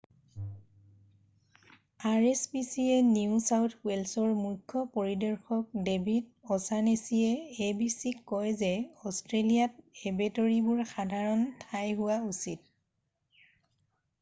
rspcaৰ new south ৱেলছৰ মুখ্য পৰিদৰ্শক ডেভিদ অ'ছানেছীয়ে abcক কয় যে অষ্ট্ৰেলিয়াত এবেটৰিবোৰ সাধাৰণ ঠাই হোৱা উচিত।